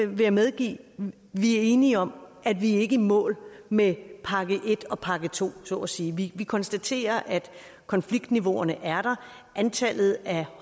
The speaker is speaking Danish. vil jeg medgive vi er enige om at vi ikke er i mål med pakke en og pakke to så at sige vi konstaterer at konfliktniveauerne er der antallet af